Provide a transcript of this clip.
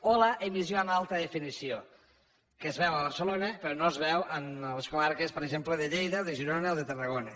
o l’emissió en alta definició que es veu a barcelona però no es veu en les comarques per exemple de lleida de girona o de tarragona